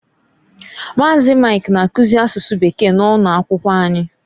Maazi, Mike na-akuzi asụsụ Bekee na ụno akwụkwọ anyị.